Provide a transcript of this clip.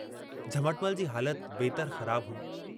झमटमल जी हालत वेतर ख़राबु हुई।